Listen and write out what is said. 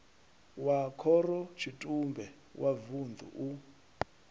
wa khorotshitumbe wa vunḓu u